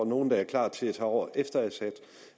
nogen der er klar til at tage over efter